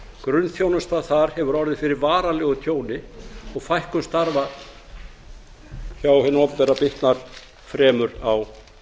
grunnþjónusta þar hefur orðið fyrir varanlegu tjóni og fækkun starfa hjá hinu opinbera bitnar fremur á